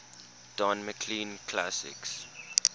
don mclean classics